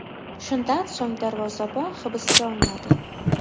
Shundan so‘ng darvozabon hibsga olinadi.